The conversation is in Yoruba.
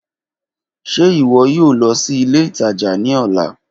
Ṣe iwọ yoo lọ si ile itaja ni ọla?